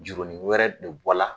Jurunin wɛrɛ de bɔla